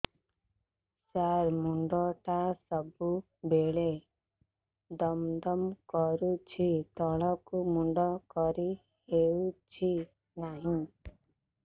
ସାର ମୁଣ୍ଡ ଟା ସବୁ ବେଳେ ଦମ ଦମ କରୁଛି ତଳକୁ ମୁଣ୍ଡ କରି ହେଉଛି ନାହିଁ